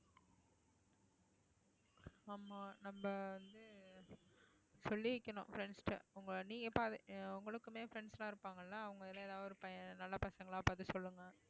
ஆமா நம்ம வந்து சொல்லி வைக்கணும் friends கிட்ட உங்க நீங்க உங்களுக்குமே friends எல்லாம் இருப்பாங்கல்ல அவங்கல ஏதாவது ஒரு பையன் நல்ல பசங்களா பாத்து சொல்லுங்க